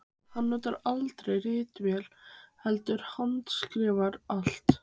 Hann notaði aldrei ritvél heldur handskrifaði allt.